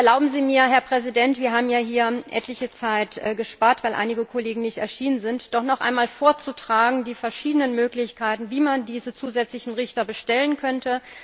Erlauben Sie mir, Herr Präsident wir haben ja hier etliche Zeit gespart, weil einige Kollegen nicht erschienen sind doch noch einmal die verschiedenen Möglichkeiten vorzutragen, wie man diese zusätzlichen Richter bestellen könnte.